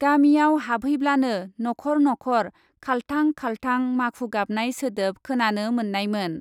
गामिआव हाबहै ब्लानो नख ' र नख ' र खालथां , खालथां , माखु गाबनाय सोदोब खोनानो मोननायमोन ।